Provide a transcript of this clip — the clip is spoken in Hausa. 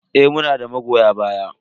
Eh, muna da magoya baya.